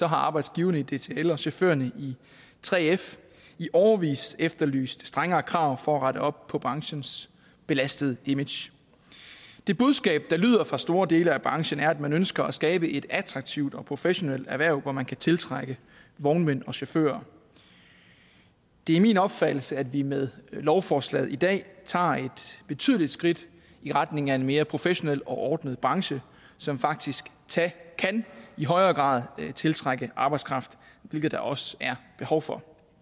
har arbejdsgiverne i dtl og chaufførerne i 3f i årevis efterlyst strengere krav for at rette op på branchens belastede image det budskab der lyder fra store dele af branchen er at man ønsker at skabe et attraktivt og professionelt erhverv hvor man kan tiltrække vognmænd og chauffører det er min opfattelse at vi med lovforslaget i dag tager et betydeligt skridt i retning af en mere professionel og ordnet branche som faktisk i højere grad kan tiltrække arbejdskraft hvilket der også er behov for